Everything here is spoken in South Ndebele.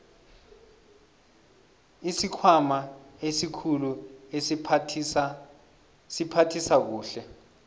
isikhwama esikhulu siphathisa kuhle